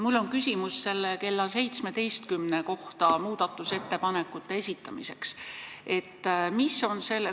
Mul on küsimus selle kohta, et muudatusettepanekud tuleb esitada kella 17-ks.